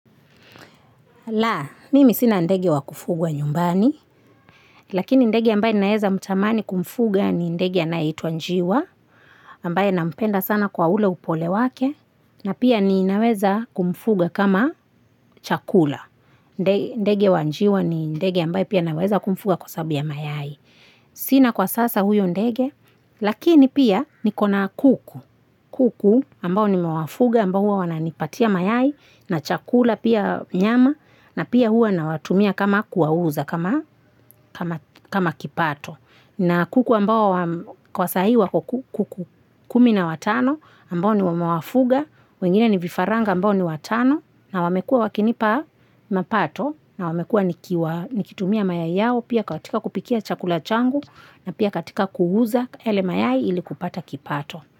Laa, mimi sina ndege wa kufugwa nyumbani, lakini ndege ambaye naeza mtamani kumfuga ni ndege anayeitwa njiwa, ambaye nampenda sana kwa ule upole wake, na pia ninaweza kumfuga kama chakula. Ndege wa njiwa ni ndege ambaye pia naweza kumfuga kwa sababu ya mayai. Sina kwa sasa huyo ndege, lakini pia niko na kuku. Kuku ambao nimewafuga, ambao huwa wanipatia mayai, na chakula pia nyama, na pia huwa nawatumia kama kuwauza, kama kipato. Na kuku ambao kwa sahi wako kuku kumi na watano ambao ni wamawafuga, wengine ni vifaranga ambao ni watano na wamekua wakinipa mapato na wamekua nikitumia mayai yao pia katika kupikia chakula changu na pia katika kuuza yale mayai ili kupata kipato.